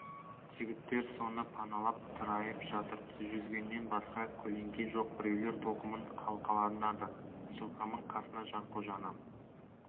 жігіттер соны паналап тырайып жатыр жүзгеннен басқа көлеңке жоқ біреулер тоқымын қалқаланады жылқаман қасына жанқожаны